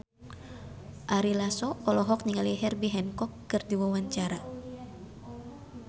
Ari Lasso olohok ningali Herbie Hancock keur diwawancara